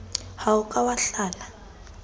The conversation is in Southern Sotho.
ha o ka wa hlala